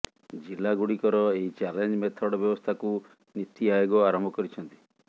ଜିଲ୍ଲା ଗୁଡିକର ଏହି ଚ୍ୟାଲେଞ୍ଜ ମେଥଡ ବ୍ୟବସ୍ଥାକୁ ନୀତି ଆୟୋଗ ଆରମ୍ଭ କରିଛନ୍ତି